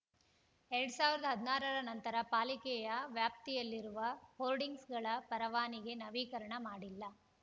ಎರಡ್ ಸಾವಿರದ ಹದಿನಾರರ ನಂತರ ಪಾಲಿಕೆಯ ವ್ಯಾಪ್ತಿಯಲ್ಲಿರುವ ಹೋರ್ಡಿಂಗ್ಸ್‌ಗಳ ಪರವಾನಿಗೆ ನವೀಕರಣ ಮಾಡಿಲ್ಲ